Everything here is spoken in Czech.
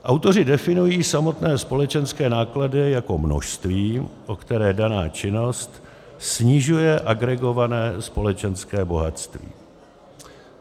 Autoři definují samotné společenské náklady jako množství, o které daná činnost snižuje agregované společenské bohatství.